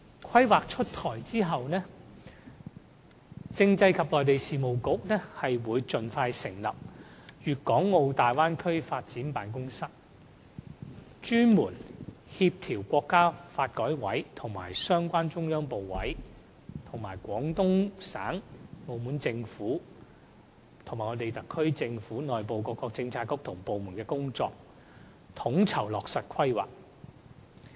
《規劃》出台後，政制及內地事務局會盡快成立"粵港澳大灣區發展辦公室"，專責協調國家發改委和相關中央部委及廣東省和澳門政府，以及特區政府內部各個政策局及部門的工作，統籌落實《規劃》。